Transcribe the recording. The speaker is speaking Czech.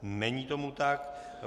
Není tomu tak.